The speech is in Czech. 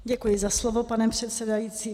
Děkuji za slovo, pane předsedající.